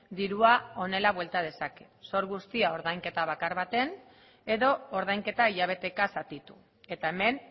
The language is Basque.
dirua honela buelta dezake zor guztia ordainketa bakar baten edo ordainketa hilabeteka zatitu eta hemen